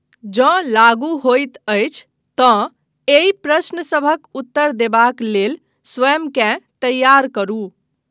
जँ लागू होइत अछि तँ एहि प्रश्न सभक उत्तर देबाक लेल स्वयंकेँ तैयार करू।